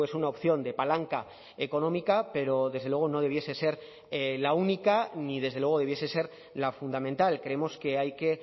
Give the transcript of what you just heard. una opción de palanca económica pero desde luego no debiese ser la única ni desde luego debiese ser la fundamental creemos que hay que